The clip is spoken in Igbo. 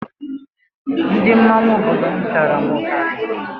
Ndị mmọnwụ obodo m pịara m ụtarị